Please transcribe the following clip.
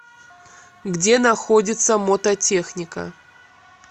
где находится мототехника